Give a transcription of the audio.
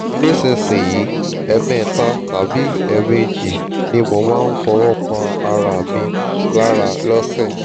nísinsìnyí ẹ̀ẹ̀mẹta tàbí ẹ̀ẹ̀méjì ni mo máa ń fọwọ́ pa ara mi lára lọ́sẹ̀